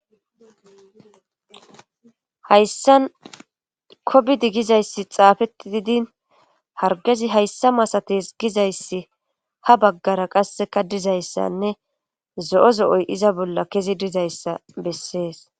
Hayssa kobidi gizayssi xaafetti didin hargezi hayssa masates gizayssi ha baggara qasse kadizayssanne zo7o zo7oy iza bolla kezi dizayssa bessees.